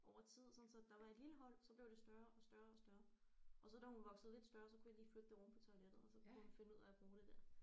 Over tid sådan så der var et lille hul så blev det større og større og større og så da hun voksede lidt større så kunne jeg lige flytte det oven på toilettet og så kunne hun finde ud af at bruge det der